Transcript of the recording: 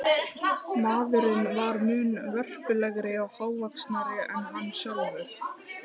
Maðurinn var mun vörpulegri og hávaxnari en hann sjálfur.